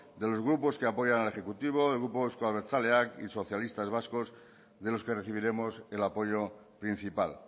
de los grupos que apoyan al ejecutivo del grupo euzko abertzaleak y socialistas vascos de los que recibiremos el apoyo principal